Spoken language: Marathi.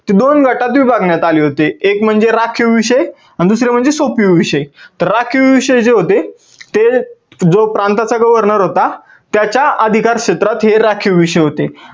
ते दोन गटात विभागण्यात आले होते. एक म्हणजे राखीव विषय आणि दुसरे म्हणजे सोप्पी विषय. राखीव विषय जे होते ते जो प्रांताचा governor होता त्याच्या अधिकार क्षेत्रात हे राखीव विषय होते.